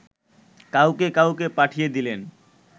কাউকে কাউকে পাঠিয়ে দিলেন